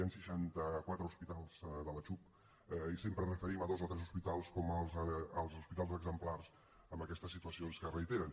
hi han seixanta quatre hospitals de la xhup i sempre ens referim a dos o tres hospitals com els hospitals exemplars en aquestes situacions que es reiteren